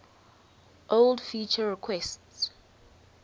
old feature requests